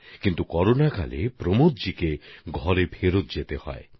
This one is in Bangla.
কিন্তু করোনার সময় প্রমোদজিকে নিজের বাড়িতে ফিরে যেতে হয়েছে